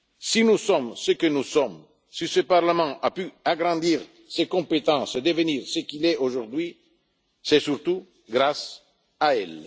elle. Si nous sommes ce que nous sommes, si ce Parlement a pu agrandir ses compétences, devenir ce qu'il est aujourd'hui, c'est surtout grâce